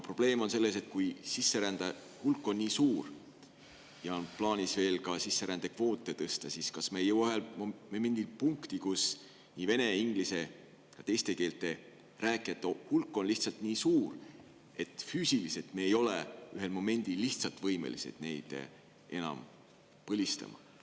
Probleem on selles, et kui sisserändajate hulk on nii suur ja on plaanis sisserändekvoote veel tõsta, siis kas me ei jõua ühel momendil punkti, kus nii vene, inglise kui ka teiste keelte rääkijate hulk on lihtsalt nii suur, et me ei ole enam füüsiliselt võimelised neid põlistama.